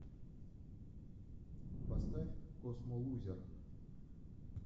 поставь космолузер